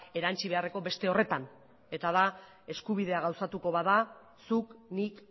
erantsi beharreko beste horretan eta da eskubidea gauzatuko bada zuk nik